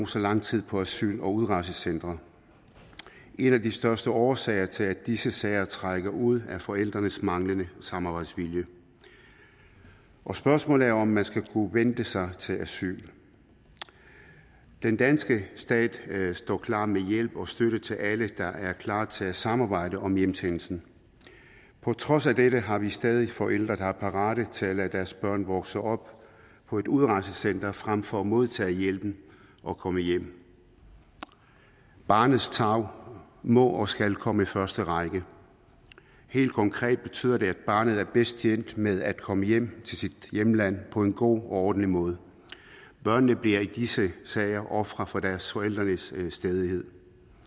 så lang tid på asyl og udrejsecentre en af de største årsager til at disse sager trækker ud er forældrenes manglende samarbejdsvilje og spørgsmålet er om man skal kunne vente sig til asyl den danske stat står klar med hjælp og støtte til alle der er klar til at samarbejde om hjemsendelse på trods af dette har vi stadig forældre der er parate til at lade deres børn vokse op på et udrejsecenter frem for at modtage hjælpen og komme hjem barnets tarv må og skal komme i første række helt konkret betyder det at barnet er bedst tjent med at komme hjem til sit hjemland på en god og ordentlig måde børnene bliver i disse sager ofre for deres forældres stædighed